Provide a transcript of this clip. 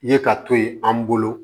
Ye ka to yen an bolo